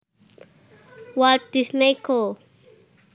Walt Disney Co